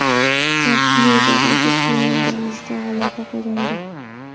Tramp Luizianadagi praymerizda g‘alaba qozondi.